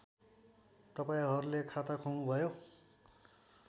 तपाईँहरूले खाता खोल्नुभयो